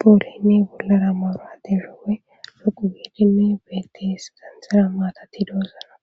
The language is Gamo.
poolimi bolara moroa de shoowe loqu giidimi betis xanxira maatatti doosona